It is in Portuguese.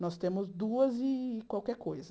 Nós temos duas e qualquer coisa.